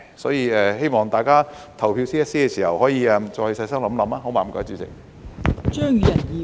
所以希望大家就這 CSA 投票時可以再細心想想，好嗎？